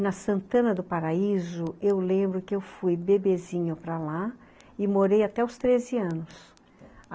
Na Santana do Paraíso, eu lembro que eu fui bebezinho para lá e morei até os treze anos, a